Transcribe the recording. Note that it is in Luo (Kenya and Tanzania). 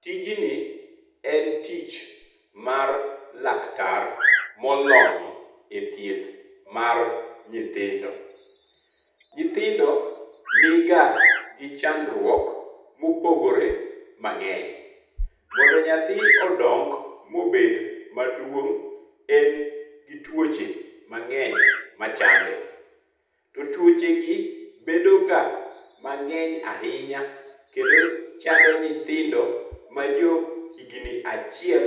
Tijni en tich mar laktar molony e thieth mar nyithindo. Nyithindo niga gi chandruok mopogore mang'eny. Mondo nyathi odong mobed maduong', en gi tuoche mang'eny machande. To tuochegi bedoga mang'eny ahinya kendo chando nyithindo majo higni achiel